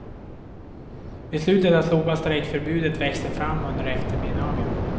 Beslutet att slopa strejkförbudet växte fram under eftermiddagen.